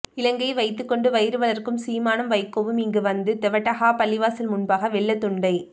இலங்கையை வைத்துக் கொண்டு வயிறு வளர்க்கும் சீமானும் வைகோவும் இங்கு வந்து தெவட்டஹா பள்ளிவாசல் முன்பாக வெள்ளத் துண்டை